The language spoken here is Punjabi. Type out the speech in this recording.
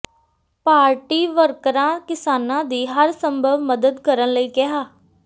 ਪਾਰਟੀ ਵਰਕਰਾਂ ਕਿਸਾਨਾਂ ਦੀ ਹਰ ਸੰਭਵ ਮਦਦ ਕਰਨ ਲਈ ਕਿਹਾ